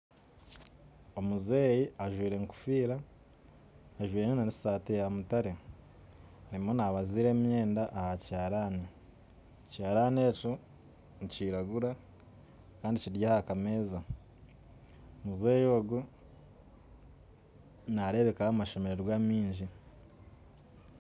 Omuzeeyi anjwire ekofiira, anjwire n'esaati yamutaare, arimu nabaziira emyenda aha kihaarani, ekihaarani ekyo nikiragura kandi kiri aha kameeza. Muzeeyi ogwe nareebekaho amashemererwa maingi